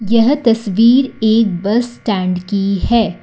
यह तस्वीर एक बस स्टैंड की है।